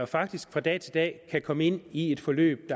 faktisk fra dag til dag kan komme ind i et forløb